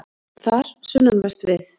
Þar, sunnanvert við